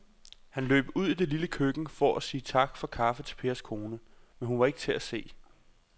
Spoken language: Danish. Han løb ud i det lille køkken for at sige tak for kaffe til Pers kone, men hun var ikke til at se.